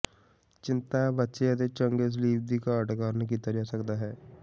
ਚਿੰਤਾ ਬੱਚੇ ਅਤੇ ਚੰਗੇ ਸਲੀਪ ਦੀ ਘਾਟ ਕਾਰਨ ਕੀਤਾ ਜਾ ਸਕਦਾ ਹੈ